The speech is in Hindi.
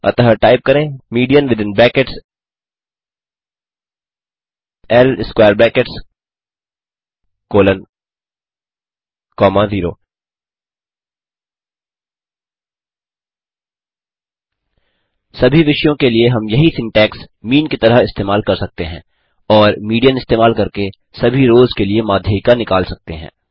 अतः टाइप करें मीडियन विथिन ब्रैकेट्स ल स्क्वेयर ब्रैकेट्स कोलोन कॉमा 0 सभी विषयों के लिए हम यही सिन्टैक्स मीन की तरह इस्तेमाल कर सकते हैं और मीडियन इस्तेमाल करके सभी रोस के लिए माध्यिका निकाल सकते हैं